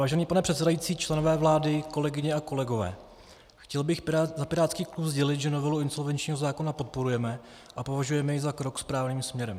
Vážený pane předsedající, členové vlády, kolegyně a kolegové, chtěl bych za pirátský klub sdělit, že novelu insolvenčního zákona podporujeme a považujeme ji za krok správným směrem.